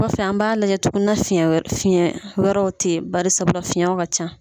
Kɔfɛ an b'a lajɛ tugu ni fi fiɲɛ wɛrɛw te yen barisabula fiɲɛw ka ca.